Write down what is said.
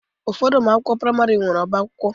Ụfọdụ ụlọ akwụkwọ praịmarị nwere ọbá akwụkwọ